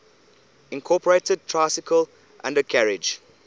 incorporated tricycle undercarriage